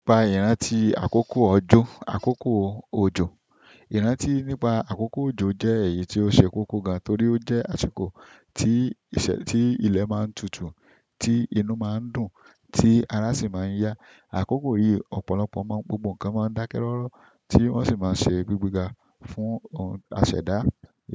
Ìpà ìrántí àkókò ọjọ́, àkókò òjò. Ìrántí nípa àkókò òjò jẹ́ èyí tó ṣe kókó gan, torípé ó jẹ́ àsìkò tí ilẹ̀ máa tutu, ti inú máa ń dùn tí ara síi má ń ya. Àkókò yìí ọ̀pọ̀lọpọ̀ máa ń gbógbo kan máa ń dákẹ́ rọ́rọ́ tí wọ́n sì máa ń ṣe gbígbéga fún ọ̀, àṣẹda.